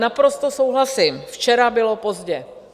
Naprosto souhlasím, včera bylo pozdě.